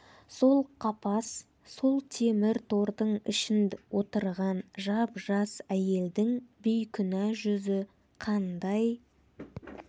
сол қапас сол темір тордың ішінд отырған жап-жас әйелдің бейкүнә жүзі қандай